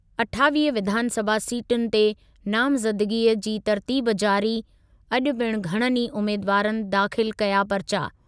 अठावीह विधानसभा सी्टुनि ते नामज़दगीअ जी तर्तीब जारी, अॼु पिणु घणनि ई उमेदवारनि दाख़िल कया परिचा।